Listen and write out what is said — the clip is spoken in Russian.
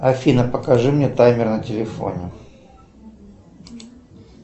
афина покажи мне таймер на телефоне